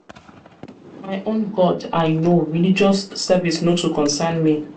own god i know religious service no too concern me.